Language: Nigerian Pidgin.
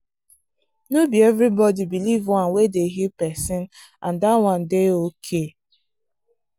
no be everybody believe one way dey heal person and that one dey okay.